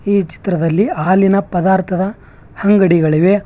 ಈ ಚಿತ್ರದಲ್ಲಿ ಹಾಲಿನ ಪದಾರ್ಥದ ಅಂಗಡಿಗಳಿವೆ.